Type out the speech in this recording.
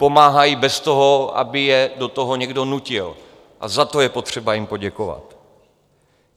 Pomáhají bez toho, aby je do toho někdo nutil, a za to je potřeba jim poděkovat.